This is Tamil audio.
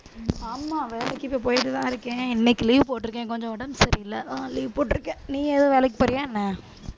ஆமா வேலைக்கு இப்ப போயிட்டு தான் இருக்கேன் இன்னைக்கு leave போட்டு இருக்கேன் கொஞ்சம் உடம்பு சரியில்லை அஹ் leave போட்டிருக்கேன் நீ எதுவும் வேலைக்கு போறியா என்ன